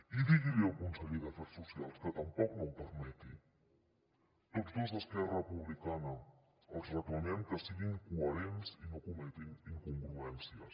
i digui li al conseller d’afers socials que tampoc no ho permeti tots dos d’esquerra republicana els reclamem que siguin coherents i no cometin incongruències